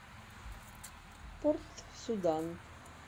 порт судан